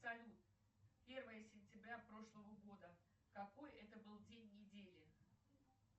салют первое сентября прошлого года какой это был день недели